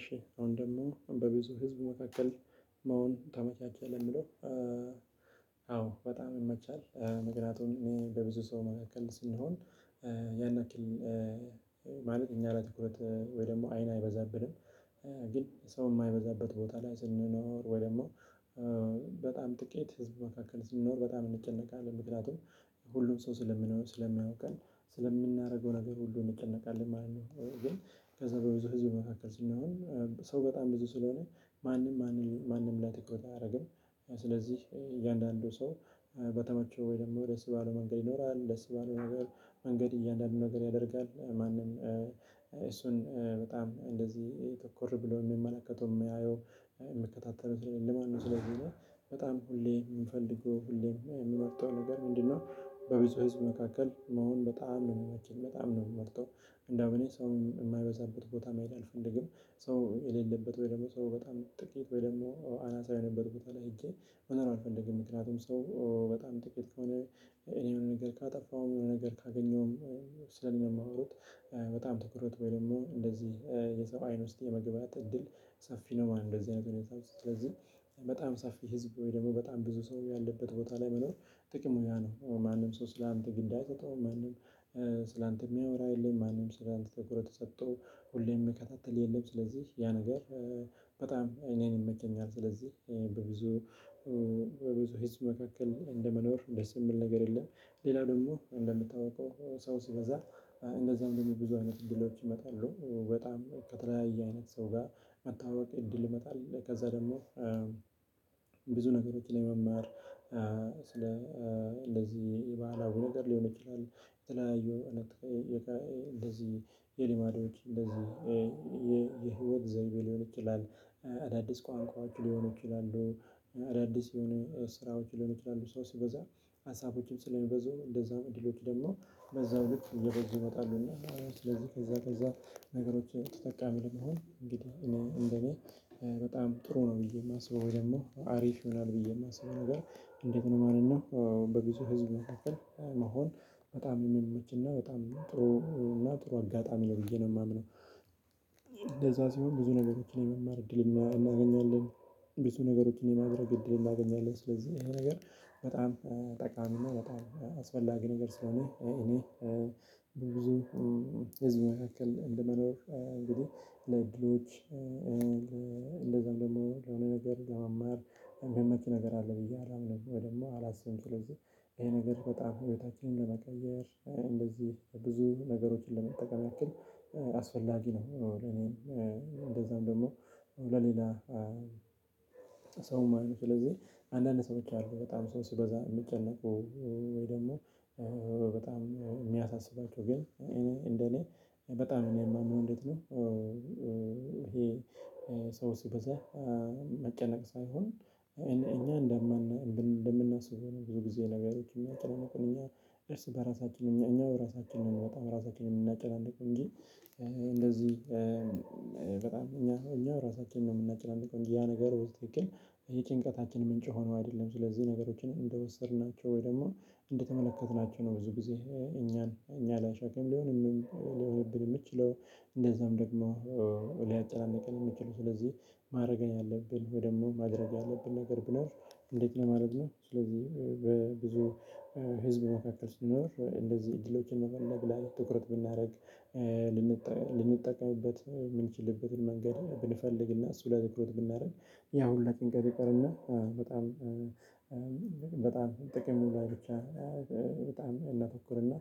እሺ አሁን ደግሞ በብዙ ህዝብ መካከል መሆን ተመቻቸህ ለምለው አዎ በጣም ይመቻል። ምከንያቱም እኔ በብዙ ሰው መካከል ስንሆን ያን ያክል ማለት እኛ ላይ ትኩረት ወይ ደግሞ አይን አይበዛብንም። ግን ሰው የማይበዛበት ቦታ ላይ ስንኖር ወይ ደግሞ በጣም ጥቂት ህዝብ መካከል ስንኖር በጣም እንጨነቃለን ምክንያቱም ሁሉም ሰው ስለምንሆን ስለሚያውቀን ስለምናደርገው ነገር ሁሉ እንጨነቃለን ማለት ነው። ግን ከዛ በብዙ ህዝብ መካከል ስንሆን ሰው በጣም ብዙ ስለሆነ ማንም ማንም ማንም ላይ ትኩረት አያደርግም። እያንዳንዱ ሰው በተመቸው ወይ ደግሞ ደስ ባለው መንገድ ይኖራል ደስ ባለው መንገድ መንገድ እያንዳንዱ ነገር ያደርጋል ማንም እሱን በጣም እንደዚህ ትኩር ብሎ የሚመለከተው የሚያየው የሚከታተለው ሰለሌለ ማለት ነው። ስለዚህ እኔ በጣም ሁሌ የምፈልገው ሁሌ የምመርጠው ነገር ምንድነው? በብዙ ህዝብ መካከል መሆን በጣም ነው የሚመቸኝ በጣም ነው የምመርጠው። እንደውም እኔ ሰው የማይበዛበት ቦታ መሄድ አልፈልግም። ሰው የሌለበት ወይ ደግሞ ሰው በጣም ጥቂት ወይ ደግሞ አናሳ የሆነበት ቦታ ላይ ሄጄ መኖር አልፈልግም። ምክንያቱም ሰው በጣም ጥቂት ከሆነ እኔ የሆነ ነገር ካጠፋሁም የሆነ ነገር ካገኘሁም ስለእኔ ነው ስለእኔ ነው የሚያወሩት። በጣም ትኩረት ወይ ደግሞ እንደዚህ የሰው አይን ውስጥ የመግባት እድል ሰፊ ነው ማለት ነው። እንደዚህ አይነት ሁኔታ ውስጥ ስለዚህ በጣም ሰፊ ህዝብ ወይ ደግሞ በጣም ብዙ ሰው ያለበት ቦታ ላይ መኖር ጥቅሙ ያ ነው። ማንም ሰው ስላንተ ግን አይሰጠውም ማንም ስላንተ የሚያወራ የለም። ማንም ስላንተ ተኩረት ሰጥቶ ሁሌም የምከታተልህ የለም። ስለዚህ ያ ነገር በጣም እኔን ይመቸኛል። ስለዚህ በብዙ ህዝብ መካከል እንደመኖር ደስ የሚል ነገር የለም። ሌላው ደግሞ እንደሚታወቀው ሰው ሲበዛ እንደዚያም ደግሞ ብዙ አይነት እድሎች ይመጣሉ በጣም ከተለያየ አይነት ሰው ጋር መተዋወቅ እድል ይመጣል። ከዛ ደግሞ ብዙ ነገሮችን ለመማር ስለ እንደዚህ ባህላዊ ነገር ሊሆን ይችላል። የተለያዩ እውነት እንደዚህ የሊማዶች እንደዚህ የህይወት ዘይቤ ሊሆን ይችላል። አዳዲስ ቋንቋዎች ሊሆን ይችላሉ። አዳዲስ የሆኑ ስራዎች ሊሆኑ ይችላሉ። ሰው ሲበዛ ሀሳቦችም ስለሚበዙ እንደዛም እድሎች ደግሞ በዛው ልክ እየበዙ ይመጣሉና። ስለዚህ ከዛ ከዛ ነገሮች ተጠቃሚ ለመሆን እንግዲህ እኔ እንደኔ በጣም ጥሩ ነው ብዬ የማስበው ወይ ደግሞ አሪፍ ይሆናል። ብዬ የማስበው ነገር እንዴት ነው ማለት ነው? በብዙ ህዝብ መካከል መሆን በጣም የሚመችና በጣም ጥሩ እና ጥሩ አጋጣሚ ነው ብዬ ነው የማምነው። ሲሆን ብዙ ነገሮችን የመማር እድል እናገኛለን። ብዙ ነገሮችን የማድረግ እድል እናገኛለን። ስለዚህ ይሄ ነገር በጣም ጠቃሚ እና በጣም አስፈላጊ ነገር ስለሆነ እኔ ብዙ ህዝብ መካከል እንደመኖር እንግዲህ ለእድሎች እንደዛም ደግሞ የሆነ ነገር ለመማር የሚመች ነገር አለ ብዬ አላምንም። ደግሞ ወይ ደግሞ አላስብም ስለዚህ ይሄ ነገር በጣም ህይወታችንን ለመቀየር እንደዚህ ብዙ ነገሮችን ለመጠቀም ያክል አስፈላጊ ነው። ለኔም እንደዛም ደግሞ ለሌላ ሰውማ ነው ስለዚህ አንዳንድ ሰዎች አሉ በጣም ሰው ሲበዛ የሚጨነቁ። ወይ ደግሞ በጣም የሚያሳስባቸው ግን እኔ እንደኔ በጣም እኔ የማምነው እንዴት ነው? ይሄ ሰው ሲበዛ መጨነቅ ሳይሆን እኛ እንደምን እንደምናስበው ነው። ብዙ ጊዜ ነገሮች የሚያጨናንቁን እኛን እርስ በራሳችን እኛ እኛ በራሳችን ነው የምንወጣው ራሳችን ነው የምናጨናንቀው። እንጂ እንደዚህ በጣም እኛ እኛ ራሳችንን ነው የምናጨናንቀው እንጂ ያ ነገር ውስጥ ያክል ይሄ ጭንቀታችን ምንጭ ሆኖ አይደለም። ስለዚህ ነገሮችን እንደወሰድናቸው ወይ ደግሞ እንደተመለከትናቸው ነው ብዙ ጊዜ እኛን እኛ ላይ ሸክም ሊሆንም ሊሆንብን የምችለው። እንደዛም ደግሞ ሊያጨናንቀን የምችለው ስለዚህ ማድረግ ያለብን ወይ ደግሞ ማድረግ ያለብን ነገር ብኖር። እንዴት ለማድረግ ነው? ስለዚህ በብዙ ህዝብ መካከል ሲኖር እንደዚህ እድሎችን መፈለግ ላይ ትኩረት ብናደርግ ልንጠቀምበት የምንችልበትን መንገድ ብንፈልግና እሱ ላይ ትኩረት ብናደርግ ያው ሁላ ጭንቀት ይቀርና። በጣም በጣም ጥቅሙ ላይ ብቻ በጣም እናተኩርና።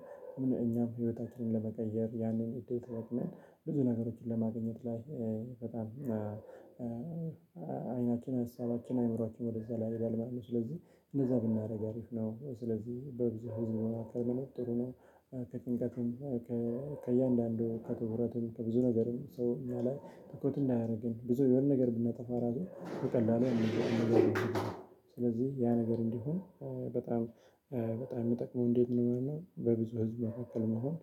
እኛም ህይወታችንን ለመቀየር ያንን እድል ተጠቅመን ብዙ ነገሮችን ለማግኘት ላይ በጣም አይናችንን ሀሳባችን አይምሯችን ወደዛ ላይይሄዳል ማለት ነው። ስለዚህ እንደዛ ብናደርግ አሪፍ ነው። ስለዚህ በብዙ ህዝብ መካከል መኖር ጥሩ ነው። ከጭንቀትም ከእያንዳንዱ ከትኩረቱም ከብዙ ነገርም ሰው እኛ ላይ ትኩረት እንዳያደርገን ብዙ የሆነ ነገር ብናጠፋ ራሱ በቀላሉ የሆነ ነገር ስለሆነ ስለዚህ ያ ነገር እንዲሆን በጣም በጣም የሚጠቅመው እንዴት ነው ማለት ነው? በብዙ ህዝብ መካከል መሆን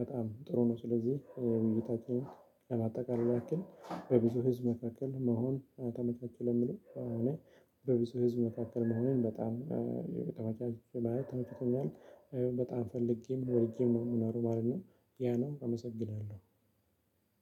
በጣም ጥሩ ነው። ስለዚህ ውይይታችን ለማጠቃለል ያክል በብዙ ህዝብ መካከል መሆን ለሚለው እኔ በብዙ ህዝብ መካከል መሆኔን በጣም ተመቻች ማለት ተመችቶኛል። በጣም ፈልጌም ወድጄም ነው የምኖረው ማለት ነው። ያ ነው አመሰግናለሁ።